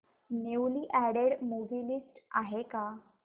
newly added movie list आहे का